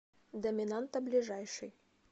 доминанта ближайший